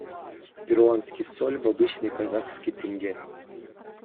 перуанский соль в обычный казахский тенге